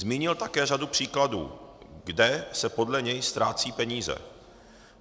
Zmínil také řadu příkladů, kde se podle něj ztrácejí peníze.